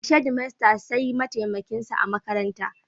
Daga shedimaster sai mataimakin sa a makaranta.